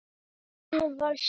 Kristín var slík kona.